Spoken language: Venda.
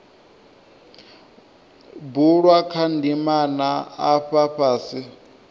bulwa kha ndimana afha fhasi